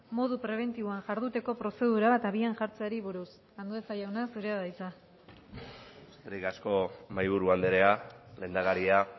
modu prebentiboan jarduteko prozedura bat abian jartzeari buruz andueza jauna zurea da hitza eskerrik asko mahaiburu andrea lehendakaria